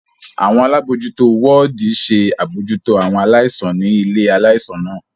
Awọn alabojuto wọdi ṣe abojuto awọn alaisan ni ile-ạlaisan naa.